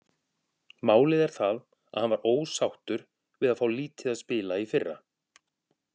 Málið er það að hann var ósáttur við að fá lítið að spila í fyrra.